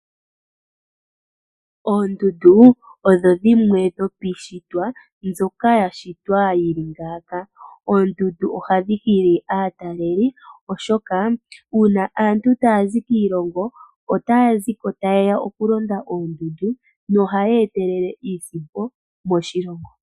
Oondundu odho dhimwe dhopiishitwa mbyoka ya shitwa yi li ngaaka. Oondundu ohadhi hili aatalelipo, oshoka uuna aantu taya zi kiilongo otaya zi ko taye ya okulonda oondundu nohaya etelele iisimpo moshilongo.